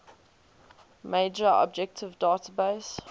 major object database